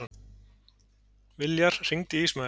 Viljar, hringdu í Ísmael.